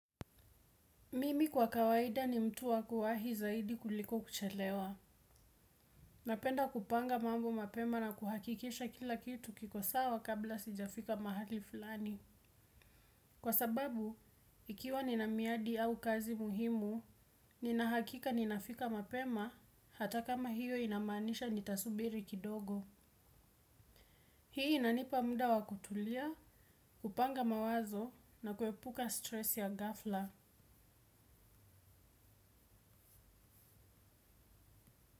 Mimi kwa kawaida ni mtu wa kuwahi zaidi kuliko kuchelewa. Napenda kupanga mambo mapema na kuhakikisha kila kitu kiko sawa kabla sijafika mahali fulani. Kwa sababu, ikiwa nina miadi au kazi muhimu, nina hakika ninafika mapema hata kama hiyo inamaanisha nitasubiri kidogo. Hii inanipa muda wa kutulia, kupanga mawazo na kuepuka stress ya ghafla.